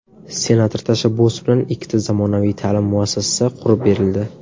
Senator tashabbusi bilan ikkita zamonaviy ta’lim muassasasi qurib berildi.